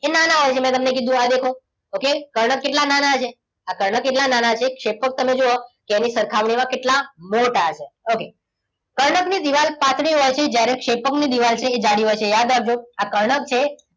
એ નાના હોય છે મેં તમને કીધુ આ દેખો. okay? કર્ણક કેટલા નાના છે? આ કર્ણક કેટલા નાના છે ક્ષેપક ને જુઓ તેની સરખામણીમાં કેટલા મોટા છે? okay કર્ણક ની દિવાલ પાતળી હોય છે. જ્યારે ક્ષેપકની દિવાલ છે એ જાડી હોય છે. યાદ રાખજો આ કર્ણક છે.